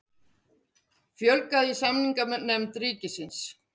Fjölgað í samninganefnd ríkisins